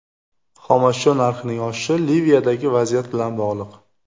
Xomashyo narxining oshishi Liviyadagi vaziyat bilan bog‘liq.